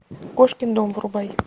кошкин дом врубай